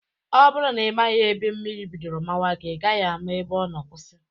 Ọ bụrụ na ị maghị ebe mmiri bidoro mawa gị, ị gaghị ama ebe ọ nọ kwụsị